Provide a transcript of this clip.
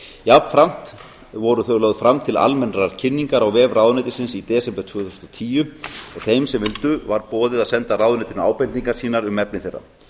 jafnframt voru þau lögð fram til almennrar kynningar á vef ráðuneytisins í desember tvö þúsund og tíu og þeim sem vildu bar boðið að senda ráðuneytinu ábendingar sínar um efni þeirra